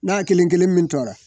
N'a kelen kelen min tora